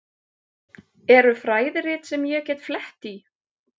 Eru fræðirit sem ég get flett í?